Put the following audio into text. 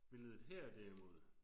Billedet her derimod